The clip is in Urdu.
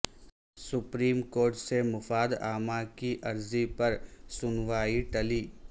سپریم کورٹ سے مفاد عامہ کی عرضی پر سنوائی ٹلی